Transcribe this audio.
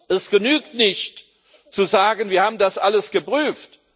Es genügt nicht zu sagen Wir haben das alles geprüft.